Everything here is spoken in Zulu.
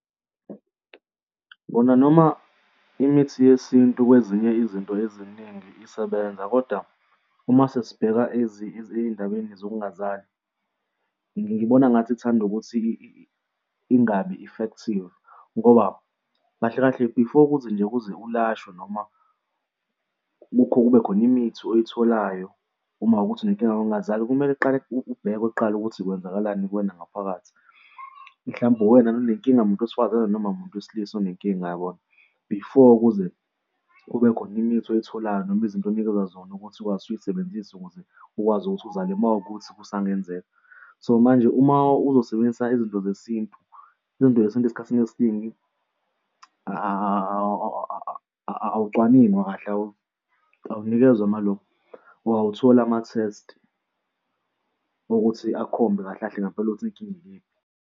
Kona noma imithi yesintu kwezinye izinto eziningi isebenza, kodwa uma sesibheka ezindabeni zokungazali, ngibona ngathi ithanda ukuthi ingabi-effective ngoba kahle kahle before kuze nje uze ulashwe noma kube khona imithi oyitholayo uma kuwukuthi unenkinga yokungazali, kumele uqale kubhekwe kuqala ukuthi kwenzakalani kuwena ngaphakathi. Mhlawumbe uwena nanenkinga muntu wesifazane noma umuntu wesilisa unenkinga, yabona? Before kuze kube khona imithi oyitholayo noma izinto unikezwa zona ukuthi ukwazi ukuzisebenzisa ukuze ukwazi ukuthi uzale uma kuwukuthi kusangenzeka. So manje uma uzosebenzisa izinto zesintu, izinto zesintu esikhathini esiningi awucwaningwa kahle, awunikezwa amalo awutholi ama-test ukuthi akhombe kahle kahle ngempela ukuthi inkinga ikephi.